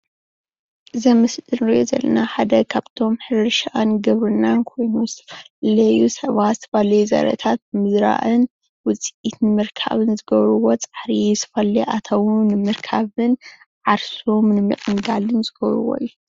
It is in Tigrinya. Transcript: እዚ ኣብ ዝምሊ እንሪኦ ዘለና ሓደ ካብቶም ሕርሻን ግብርናን ኮይኑ ዝተፈላለዩ ሰባት ዝተፈላለዩ ዘርእታት ምዝራእን ውፅኢት ንምርካብን ዝገብርዎ ፃዕሪ ዝተፈላለዩ ኣታዊን ንምርካብን ዓርሶም ንምዕንጋልን ዝገብርዎ እዩ፡፡